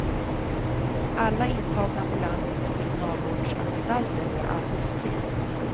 Alla intagna på landets kriminalvårdsanstalter har arbetsplikt.